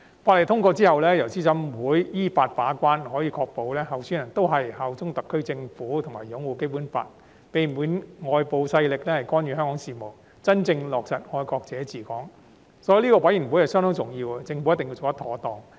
法案通過後，由資審會依法把關，可以確保參選人均效忠特區政府及擁護《基本法》，避免外部勢力干預香港事務，真正落實"愛國者治港"，所以資審會相當重要，政府一定要做得妥當。